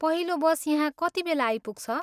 पहिलो बस यहाँ कतिबेला आइपुग्छ?